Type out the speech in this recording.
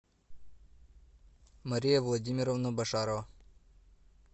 мария владимировна башарова